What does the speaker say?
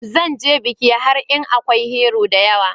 Zan ze bikin har in Akwai "Hero" da yawa.